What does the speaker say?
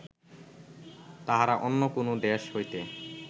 তাহারা অন্য কোনো দেশ হইতে